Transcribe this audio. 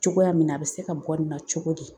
Cogoya min na a bɛ se ka bɔ nin na cogo di.